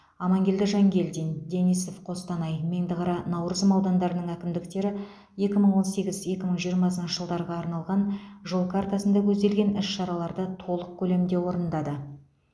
амангелді жангелдин денисов қостанай меңдіқара наурызым аудандарының әкімдіктері екі мың он сегіз екі мың жиырмасыншы жылдарға арналған жол картасында көзделген іс шараларды толық көлемде орындады